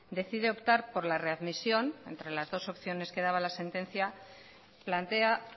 decide optar por la readmisión entre las dos opciones que daba la sentencia plantea